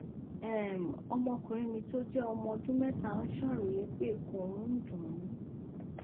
um ọmọkùnrin mi tó jẹ ọmọ ọdún mẹta ń ṣàròyé pé ikùn òun ń dùn ún